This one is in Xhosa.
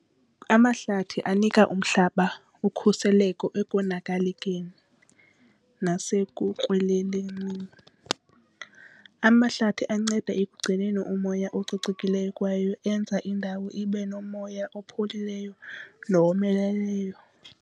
Amahlathi anika umhlaba ukhuseleko ekonakalekeni nasekukrweleleni. Amahlathi anceda ekugcineni umoya ococekileyo kwaye enza indawo ibe nomoya opholileyo nowomeleleyo.